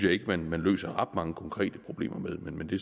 ikke man løser ret mange konkrete problemer med men det